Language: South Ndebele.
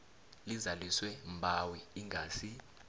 lizaliswe mbawi ingasi